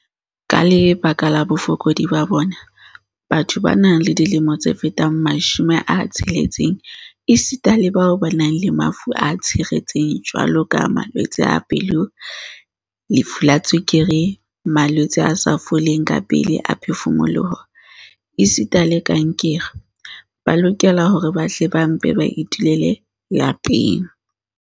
"Ka lebaka la bofokodi ba bona, batho ba nang le dilemo tse fetang 60 esita le bao ba nang le mafu a tshiretseng jwaloka malwetse a pelo, lefu la tswekere, malwetse a sa foleng kapele a phefumoloho esita le kankere, ba lokela hore ba hle ba mpe ba itulele lapeng."